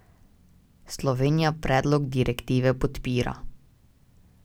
Slovenija predlog direktive podpira.